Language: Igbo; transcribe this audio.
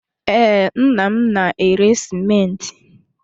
Ee, nna m na-ere sịmentị.